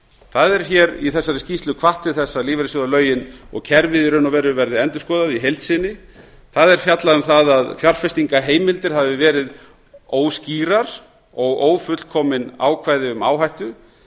það er hér í þessari skýrslu hvatt til þess að lífeyrissjóðalögin og kerfið í raun og veru verði endurskoðað í heild sinni það er fjallað um það að fjárfestingarheimildir hafi verið óskýrar og ófullkomin ákvæði um áhættu